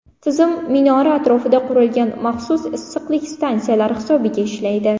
Tizim minora atrofida qurilgan maxsus issiqlik stansiyalari hisobiga ishlaydi.